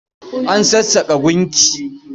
An sassaƙa gunki.